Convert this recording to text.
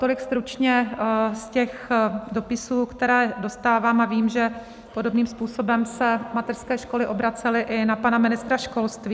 Tolik stručně z těch dopisů, které dostávám, a vím, že podobným způsobem se mateřské školy obracely i na pana ministra školství.